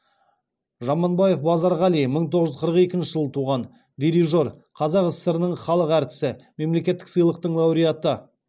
жаманбаев базарғали мың тоғыз жүз қырық екінші жылы туған дирижер қазақ сср інің халық әртісі мемлекеттік сыйлықтың лауреаты